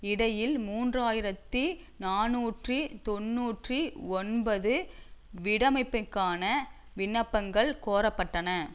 இடையில் மூன்று ஆயிரத்தி நாநூற்றி தொன்னூற்றி ஒன்பது வீடமைப்பிற்கான விண்ணப்பங்கள் கோரப்பட்டன